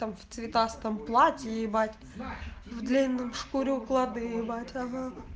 в цветастом платье ебать в длинном шкуре укладывать